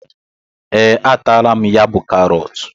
Ee, a taala m ya bú karọt